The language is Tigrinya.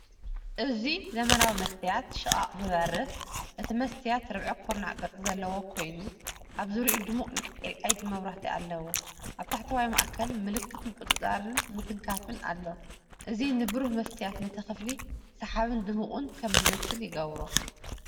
እዙይ ዘመናዊ መስትያት ሽቓቕ ዝበርህ። እቲ መስትያት ርብዒ ኩርናዕ ቅርጺ ዘለዎ ኮይኑ ኣብ ዙርያኡ ድሙቕ ናይ ኤልኢዲ መብራህቲ ኣለዎ። ኣብ ታሕተዋይ ማእከል፡ ምልክት ምቁጽጻር ምትንኻፍ ኣሎ። እዚ ንብሩህ መስትያት ነቲ ክፍሊ ሰሓብን ድሙቕን ከም ዝመስል ይገብሮ።